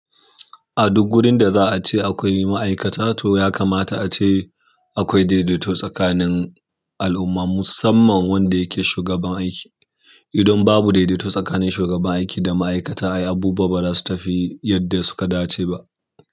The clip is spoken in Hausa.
A duk wurin da za a ce akwai ma'aikata, to ya kamata a ce akwai daidaito tsakanin al'umma, musamman wanda yake shugaban aiki. Idan babu daidaito tsakanin shugaban aiki da ma'aikata ai abubuwa ba zasu tafi yanda ya dace ba.